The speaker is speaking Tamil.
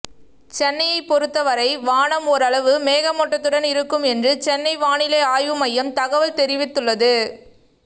சென்னையை பொருத்த வரை வானம் ஓரளவு மேகமூட்டத்துடன் இருக்கும் என்று சென்னை வானிலை ஆய்வு மையம் தகவல் தெரிவித்துள்ளது